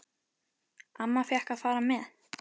Amma fékk að fara með.